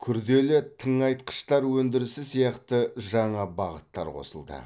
күрделі тыңайтқыштар өндірісі сияқты жаңа бағыттар қосылды